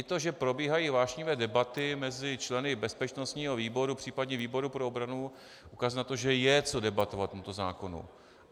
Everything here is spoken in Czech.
I to, že probíhají vášnivé debaty mezi členy bezpečnostního výboru, případně výboru pro obranu, ukazují na to, že je co debatovat k tomuto zákonu.